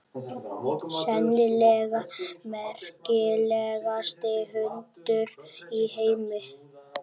Sennilega merkilegasti hundur í heimi.